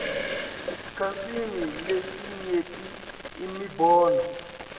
esikhatsini lesinyenti imibono